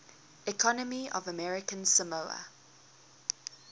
economy of american samoa